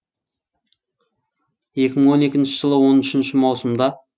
екі мың он екінші жылы он үшінші маусымда